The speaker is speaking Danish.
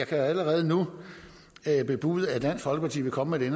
kan jeg allerede nu bebude at dansk folkeparti vil komme med